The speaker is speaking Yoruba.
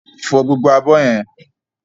Fọ gbogbo abọ́ yẹn!